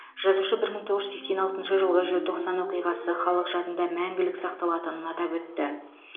жазушы бір мың тоғыз жүз сексен алтыншы жылғы желтоқсан оқиғасы халық жадында мәңгілік сақталатынын атап өтті